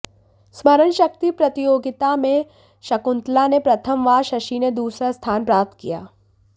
स्मरण शक्ति प्रतियोगिता में शकुंतला ने प्रथम व शशि ने दूसरा स्थान प्राप्त किया